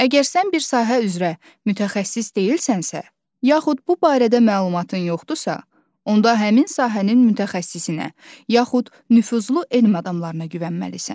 Əgər sən bir sahə üzrə mütəxəssis deyilsənsə, yaxud bu barədə məlumatın yoxdursa, onda həmin sahənin mütəxəssisinə, yaxud nüfuzlu elm adamlarına güvənməlisən.